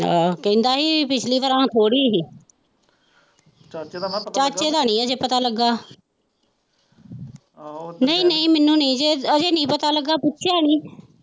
ਕਹਿੰਦਾ ਹੀ ਪਿਛਲੀ ਵਰਾਂ ਥੋੜੀ ਹੀ ਚਾਚੇ ਦਾ ਨਹੀਂ ਅਜੇ ਪਤਾ ਲ਼ੱਗਾ ਨਹੀਂ ਨਹੀਂ ਮੈਨੂੰ ਨਹੀਂ ਅਜੇ ਨਹੀਂ ਪਤਾ ਲ਼ੱਗਾ ਪੁੱਛਿਆ ਨਹੀਂ।